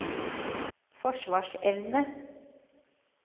forsvarsevne